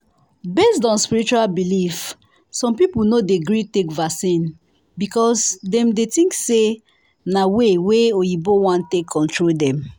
based on spiritual belief some people no dey gree take vaccine because dem think say na way wa oyinbo wan take control dem